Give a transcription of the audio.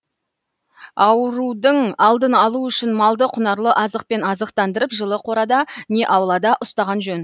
аурудың алдын алу үшін малды құнарлы азықпен азықтандырып жылы қорада не аулада ұстаған жөн